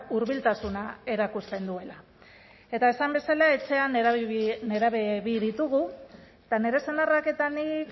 hurbiltasuna erakusten duela eta esan bezala etxean nerabe bi ditugu eta nire senarrak eta nik